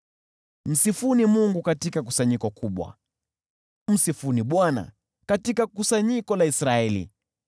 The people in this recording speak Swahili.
Msifuni Mungu katika kusanyiko kubwa, msifuni Bwana katika kusanyiko la Israeli.